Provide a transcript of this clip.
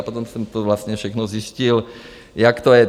A potom jsem to vlastně všechno zjistil, jak to je.